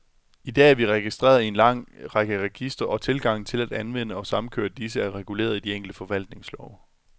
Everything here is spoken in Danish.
I dag er vi registreret i en lang række registre, og tilgangen til at anvende og samkøre disse, er reguleret i de enkelte forvaltningslove.